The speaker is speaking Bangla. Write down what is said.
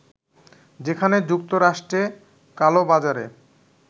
যেখানে যুক্তরাষ্ট্রে কালোবাজারে